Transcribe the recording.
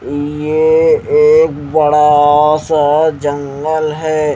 ये एक बड़ा सा जंगल है।